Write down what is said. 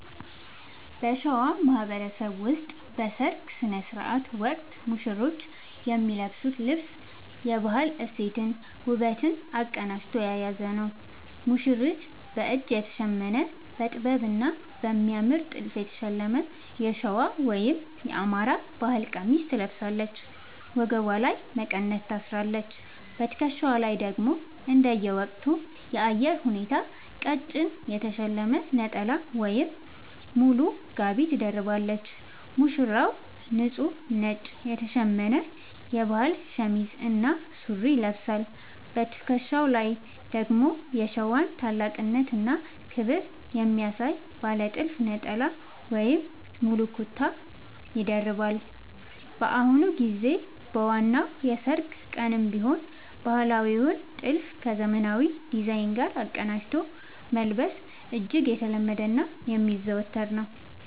በሸዋ ማህበረሰብ ውስጥ በሠርግ ሥነ ሥርዓት ወቅት ሙሽሮች የሚለብሱት ልብስ የባህል እሴትንና ውበትን አቀናጅቶ የያዘ ነው፦ ሙሽሪት፦ በእጅ የተሸመነ: በጥበብና በሚያምር ጥልፍ የተሸለመ የሸዋ (የአማራ) ባህል ቀሚስ ትለብሳለች። ወገቧ ላይ መቀነት ታስራለች: በትከሻዋ ላይ ደግሞ እንደየወቅቱ የአየር ሁኔታ ቀጭን የተሸለመ ነጠላ ወይም ሙሉ ጋቢ ትደርባለች። ሙሽራው፦ ንጹህ ነጭ የተሸመነ የባህል ሸሚዝ እና ሱሪ ይለብሳል። በትከሻው ላይ ደግሞ የሸዋን ታላቅነትና ክብር የሚያሳይ ባለ ጥልፍ ነጠላ ወይም ሙሉ ኩታ (ጋቢ) ይደርባል። በአሁኑ ጊዜ በዋናው የሠርግ ቀንም ቢሆን ባህላዊውን ጥልፍ ከዘመናዊ ዲዛይን ጋር አቀናጅቶ መልበስ እጅግ የተለመደና የሚዘወተር ነው።